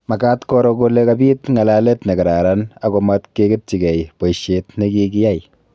Makaat koro kole kabiit ng'alalet ne kararan ako matkeketchigei boisiet ne Kakiyai